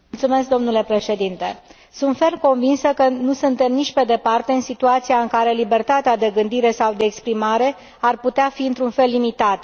Domnule președinte, sunt ferm convinsă că nu suntem nici pe departe în situația în care libertatea de gândire sau de exprimare ar putea fi într un fel limitată.